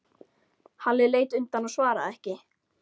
Halli leit undan og svaraði ekki.